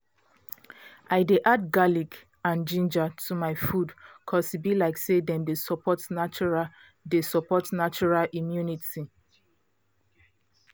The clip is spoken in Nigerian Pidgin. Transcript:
i dey add garlic and ginger to my food cause e be like say dem dey support natural dey support natural immunity